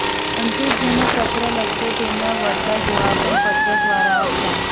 અંકિત જેને પત્ર લખતો તેમના વળતા જવાબ પણ પત્ર દ્વારા આવતા